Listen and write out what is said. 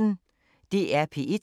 DR P1